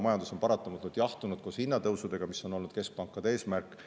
Majandus on paratamatult jahtunud koos hinnatõusudega, mis on olnud keskpankade eesmärk.